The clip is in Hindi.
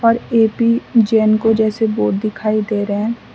ए_पी जेनको जैसे बोर्ड दिखाई दे रहें--